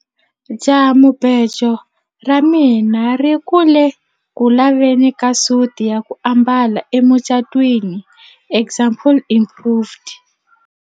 jahamubejo ra mina ri ku le ku laveni ka suti ya ku ambala emucatwiniexample improved